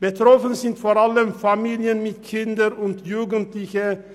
Betroffen sind vor allem Familien mit Kindern und Jugendlichen;